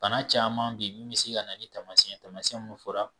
Bana caman be yen min be se ka ni taamasiɲɛn ye tamasiɲɛn munnu fɔra.